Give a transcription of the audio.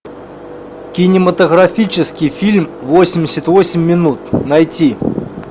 кинематографический фильм восемьдесят восемь минут найти